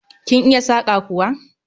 Kin iya saƙa kuwa?